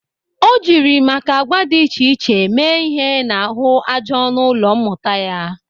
O jiri maka agwa dị iche iche see ihe n'ahụ aja ọnụ ụlọ mmụta ya.